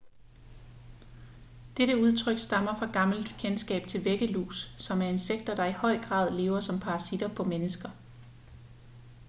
dette udtryk stammer fra gammelt kendskab til væggelus som er insekter der i høj grad lever som parasitter på mennesker